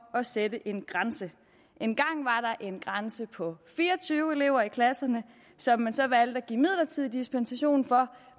at sætte en grænse engang var der en grænse på fire og tyve elever i klasserne som man så valgte at give midlertidig dispensation fra